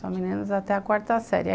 Só meninas até a quarta série.